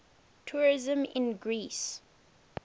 tourism in greece